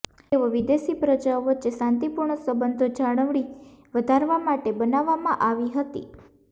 તેઓ વિદેશી પ્રજાઓ વચ્ચે શાંતિપૂર્ણ સંબંધો જાળવણી વધારવા માટે બનાવવામાં આવી હતી